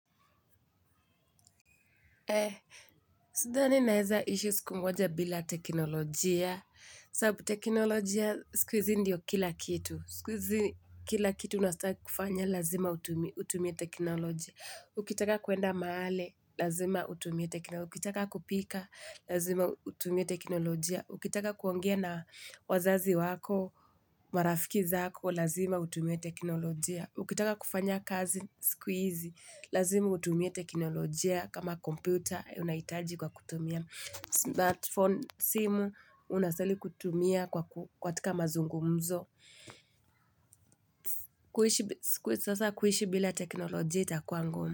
Eh, sidhani naeza ishi siku moja bila teknolojia. Sabu teknolojia, siku izi ndiyo kila kitu. Sikuizi kila kitu unastaa kufanya lazima utumie teknolojia. Ukitaka kuenda maale, lazima utumie teknolojia. Ukitaka kupika, lazima utumie teknolojia. Ukitaka kuongea na wazazi wako, marafiki zako, lazima utumie teknolojia. Ukitaka kufanya kazi, sikuizi, lazima utumie teknolojia. Kama kompyuta unaitaji kwa kutumia smartphone simu unastaili kutumia kwa kwa katika mazungumzo. Kuishi sasa kuishi bila teknolojia itakua ngumu.